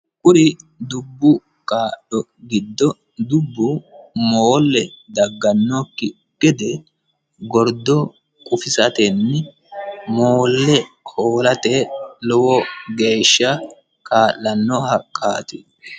kuni dubbu gaadho giddo dubbu moolle daggannokki gede gordo qufisatenni moolle hoolate lowo geeshsha kaa'lanno haqqaati.